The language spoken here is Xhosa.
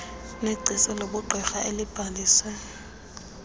negcisa lobugqirha elibhalise